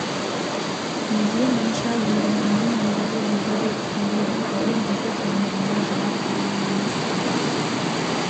неге мұнша егілгенін едіге өзі де түсінбейді бұрын бүйтіп өмірінде жылап көрген емес-ті